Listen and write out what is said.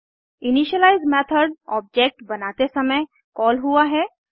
initialise method object बनाते समय call हुआ है